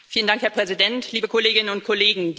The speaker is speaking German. Herr Präsident, liebe Kolleginnen und Kollegen!